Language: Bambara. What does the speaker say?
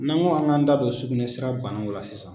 N'an ko an k'an da don sugunɛ sira banaw la sisan